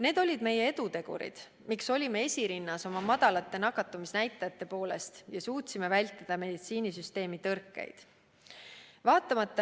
Need olid meie edutegurid, miks olime esirinnas oma madalate nakatumisnäitajate poolest ja suutsime vältida meditsiinisüsteemi tõrkeid.